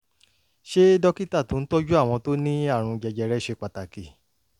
ṣé dókítà tó ń tọ́jú àwọn tó ní àrùn jẹjẹrẹ ṣe pàtàkì?